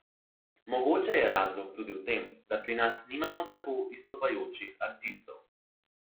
Mogoče je razlog tudi v tem, da pri nas nimamo tako izstopajočih artistov.